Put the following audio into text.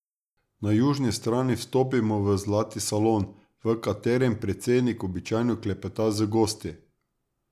Na južni strani vstopimo v zlati salon, v katerem predsednik običajno klepeta z gosti.